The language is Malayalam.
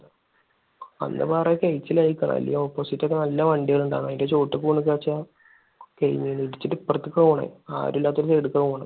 അല്ലെങ്കിൽ opposite ഒക്കെ നല്ല വണ്ടികളിണ്ടാകും. അതിന്റെയൊക്കെ ചോട്ടിലേക്ക് പോവാന്ന് വെച്ച ഇടിച്ചിട്ട് ഇപ്പറത്തേക്ക പോണത്. ആരും ഇല്ലാത്ത side ലേക്കാണ് പോണത്.